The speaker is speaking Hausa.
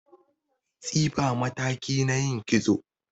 Tsifa mataki ne na yin kitso